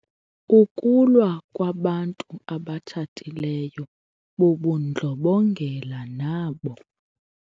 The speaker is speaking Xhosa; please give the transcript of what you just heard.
Ukulwa kwabantu abatshatileyo bubundlobongela nabo.